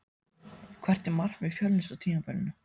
Hvert er markmið Fjölnis á tímabilinu?